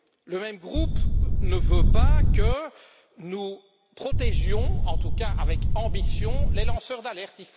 Le même groupe ne veut pas que nous protégions, en tout cas avec ambition, les lanceurs d'alerte.